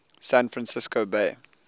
san francisco bay